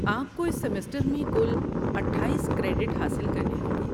آپ کو اس سیمسٹر میں کل اٹھائیس کریڈٹ حاصل کرنے ہوں گے